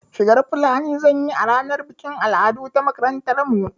Shigar fulani zan yi a ranar bikin al'adu ta makarantar mu